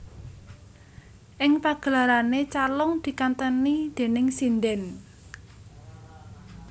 Ing pagelarane calung dikanteni déning sindhen